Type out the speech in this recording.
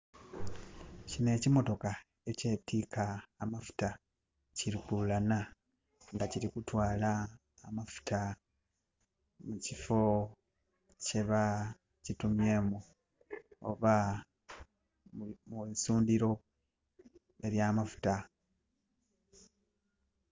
Kino ekimotoka ekyetiika amafuta, ki lukuulana, nga kiri kutwala amafuta mu kiffo kyeba kitumyemu, oba mu isundhiro ely'amafuta